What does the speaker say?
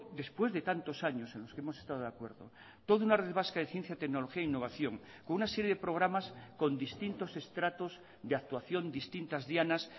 después de tantos años en los que hemos estado de acuerdo toda una red vasca de ciencia tecnología e innovación con una serie de programas con distintos estratos y actuación distintas dianas